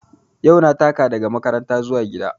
Yau na taka daga gida zuwa makaranta